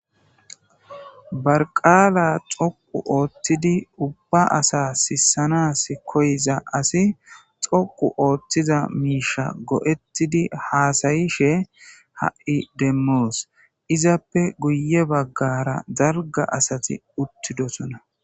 barqaala xoqu ooththidi ubba asa sissanas koyiza asi xoqu ooththiza miisha go'ettidi haasayishe ha'i demmoos izappe guye baggara dalga asati uttidosona